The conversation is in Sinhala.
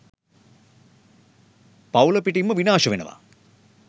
පවුල පිටින්ම විනාශ වෙනවා.